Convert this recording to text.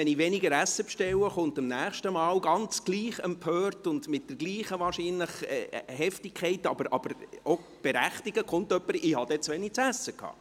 Wenn ich nun aber weniger Essen bestelle, kommt beim nächsten Mal genau gleich empört und wahrscheinlich gleich heftig, aber auch berechtigt, jemand, der sagt, dass er zu wenig zu essen hatte.